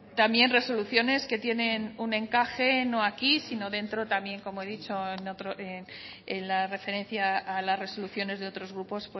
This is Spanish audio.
también resoluciones que tienen un encaje no aquí sino dentro también como he dicho en la referencia a las resoluciones de otros grupos